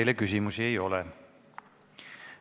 Teile küsimusi ei ole.